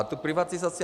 A tu privatizaci.